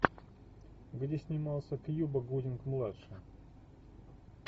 где снимался кьюба гудинг младший